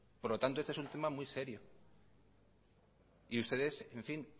por lo tanto este es un tema muy serio y ustedes en fin